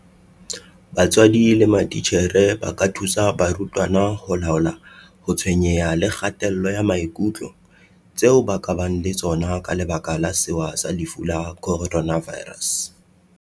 BATSWADI LE MATITJHERE ba ka thusa barutwana ho laola ho tshwenyeha le kgatello ya maikutlo tseo ba ka bang le tsona ka lebaka la sewa sa lefu la Coronavirus.